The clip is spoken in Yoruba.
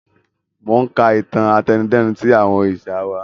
Mo ń ka ìtàn àtẹnudẹ́nu tí àwọn òrìṣà wá